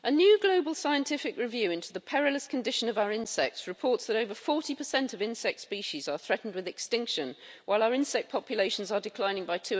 Mr President, a new global scientific review into the perilous condition of our insects reports that over 40 of insect species are threatened with extinction while our insect populations are declining by